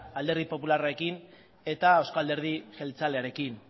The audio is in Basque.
alderdi popularrarekin eta euzko alderdi jeltzalearekin